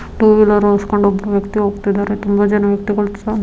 two wheeler ಓಡಿಸೊಕೊಂಡು ಒಬ್ರು ವ್ಯಕ್ತಿ ಹೋಗ್ತಿದ್ದಾರೆ ತುಂಬಾ ಜನ ವ್ಯಕ್ತಿಗಳು ಸಹ --